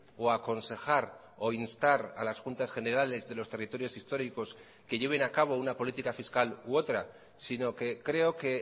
o aconsejar o instar a las juntas generales de los territorios históricos que lleven a cabo una política fiscal u otra sino que creo que